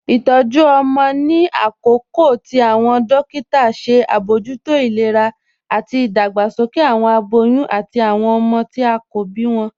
Itọju ọmọ ni akọọ̀kà tí awọn dòkìtà ṣe abojútó ilẹ̀rà ati idàgbàsókè awọn abòyún ati awọn ọmọ tí a kò bí wọn.